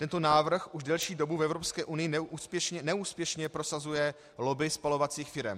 Tento návrh už delší dobu v Evropské unii neúspěšně prosazuje lobby spalovacích firem.